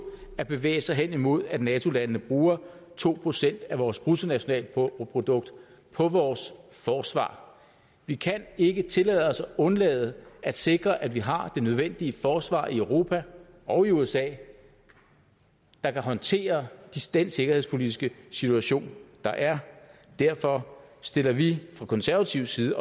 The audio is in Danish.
at bevæge sig hen imod at nato landene bruger to procent af vores bruttonationalprodukt på vores forsvar vi kan ikke tillade os at undlade at sikre at vi har det nødvendige forsvar i europa og i usa der kan håndtere den sikkerhedspolitiske situation der er derfor stiller vi fra konservativ side